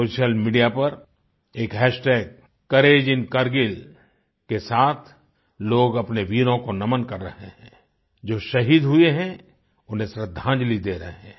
social media पर एक hashtag कोरेजिनकारगिल के साथ लोग अपने वीरों को नमन कर रहें हैं जो शहीद हुए हैं उन्हें श्रद्धांजलि दे रहें हैं